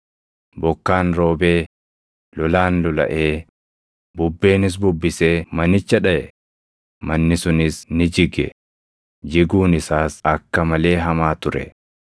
Bokkaan roobee, lolaan lolaʼee, bubbeenis bubbisee manicha dhaʼe; manni sunis ni jige; jiguun isaas akka malee hamaa ture.”